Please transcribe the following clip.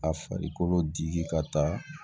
A farikolo dili ka taa